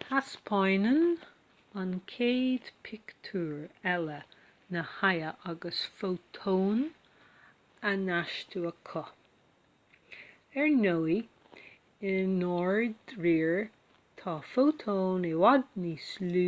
taispeánann an chéad phictiúr eile na hadaimh agus fótóin á n-astú acu ar ndóigh i ndáiríre tá fótóin i bhfad níos lú